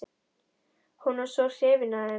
Hún var svo hrifin af þeim.